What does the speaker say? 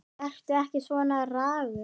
Vertu ekki svona ragur.